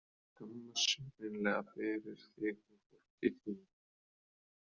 Þeir skammast sín hreinlega fyrir þig og fortíð þína.